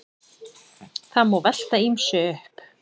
Það má velta ýmsu upp.